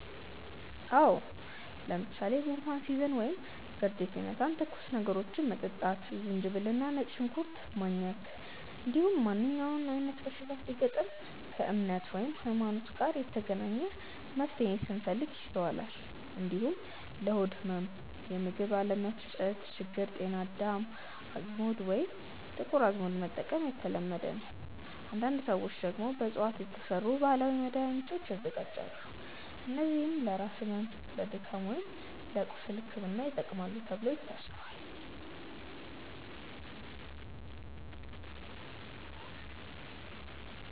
አዎ። ለምሳሌ ጉንፋን ሲይዘን ወይም ብርድ ሲመታን ትኩስ ነገሮችን መጠጣት፣ ዝንጅብል እና ነጭ ሽንኩርት ማኘክ፣ እንዲሁም ማንኛውም አይነት በሽታ ሲገጥም ከእምነት (ሀይማኖት) ጋር የተገናኘ መፍትሄን ስንፈልግ ይስተዋላል። እንዲሁም ለሆድ ህመም ወይም የምግብ አለመፈጨት ችግር ጤና አዳም፣ አዝሙድ ወይም ጥቁር አዝሙድ መጠቀም የተለመደ ነው። አንዳንድ ሰዎች ደግሞ በእፅዋት የተሰሩ ባህላዊ መድሃኒቶችን ያዘጋጃሉ፣ እነዚህም ለራስ ህመም፣ ለድካም ወይም ለቁስል ሕክምና ይጠቅማሉ ተብሎ ይታሰባል።